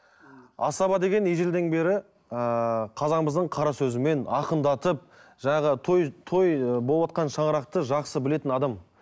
асаба деген ежелден бері ыыы қазағымыздың қара сөзімен ақындатып жаңағы той той ы болыватқан шаңырақты жақсы білетін адам